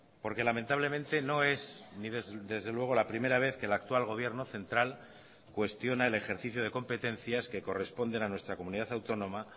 porque lamentablemente no es desde luego la primera vez que el actual gobierno central cuestiona el ejercicio de competencias que corresponden a nuestra comunidad autónoma